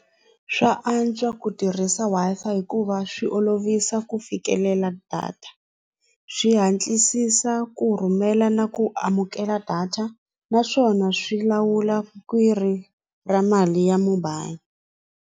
Swa antswa ku tirhisa Wi-Fi hikuva swi olovisa ku fikelela data swi hatlisisa ku rhumela na ku amukela data naswona swi lawula khwiri ra mali ya mobile.